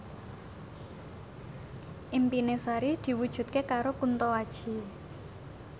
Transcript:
impine Sari diwujudke karo Kunto Aji